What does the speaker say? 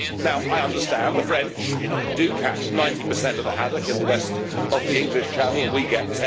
Now, I understand the French do catch 90 of the haddock in the west of the English Channel and we get